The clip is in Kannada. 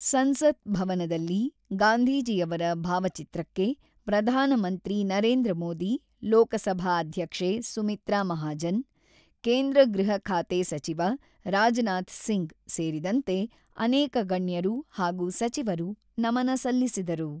ಸಂಸತ್ ಭವನದಲ್ಲಿ ಗಾಂಧೀಜಿಯವರ ಭಾವಚಿತ್ರಕ್ಕೆ ಪ್ರಧಾನಮಂತ್ರಿ ನರೇಂದ್ರ ಮೋದಿ, ಲೋಕಸಭಾ ಅಧ್ಯಕ್ಷೆ ಸುಮಿತ್ರಾ ಮಹಾಜನ್, ಕೇಂದ್ರ ಗೃಹ ಖಾತೆ ಸಚಿವ ರಾಜನಾಥ್ ಸಿಂಗ್ ಸೇರಿದಂತೆ ಅನೇಕ ಗಣ್ಯರು ಹಾಗೂ ಸಚಿವರು ನಮನ ಸಲ್ಲಿಸಿದರು.